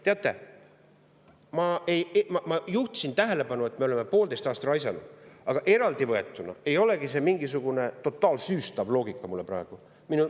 Teate, ma juhtisin tähelepanu, et me oleme poolteist aastat ära raisanud, aga eraldi võetuna ei olegi see mingisugune totaalsüüstav loogika mul praegu.